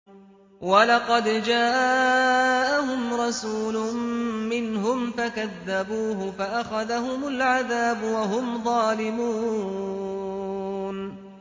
وَلَقَدْ جَاءَهُمْ رَسُولٌ مِّنْهُمْ فَكَذَّبُوهُ فَأَخَذَهُمُ الْعَذَابُ وَهُمْ ظَالِمُونَ